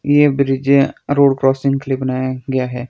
ये ब्रिज यहां road crossing के लिए बनाया गया है।